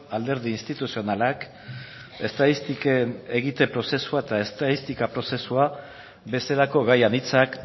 alderdi instituzionalak estatistiken egite prozesua eta estatistika prozesua bezalako gai anitzak